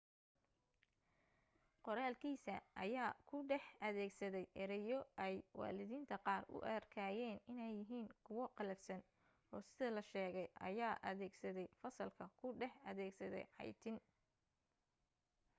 qoraalkiisa ayaa ku dhex adeegsaday ereyo ay waalidiinta qaar u arkayeen inay yihiin kuwa qallafsan oo sida la sheegay ayaa adeegsaday fasalka ku dhex adeegsaday caytin